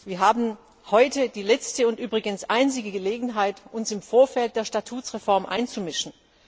Wir haben heute die letzte und übrigens einzige Gelegenheit, uns im Vorfeld der Statutsreform einzumischen.